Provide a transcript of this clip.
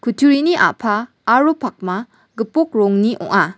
utturini a·pa aro pakma gipok rongni ong·a.